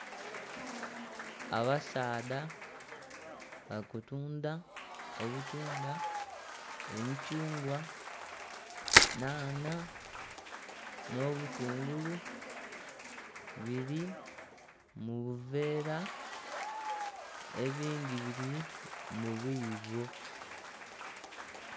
Abasaadha bali kutunda obutunda, emithungwa, nhanha n'obutungulu biri mu buveera ebindhi biri mu biibo.